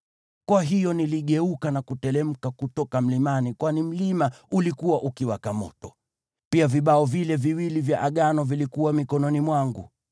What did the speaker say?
Kwa hiyo niligeuka na kuteremka kutoka mlimani kwani mlima ulikuwa ukiwaka moto. Pia vibao vile viwili vya Agano vilikuwa mikononi mwangu.